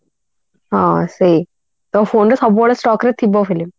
ହଁ ସେଇ ତ phone ରେ ସବୁବେଳେ stock ରେ ଥିବ film